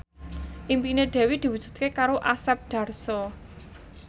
impine Dewi diwujudke karo Asep Darso